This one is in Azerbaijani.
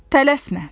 Tələsmə!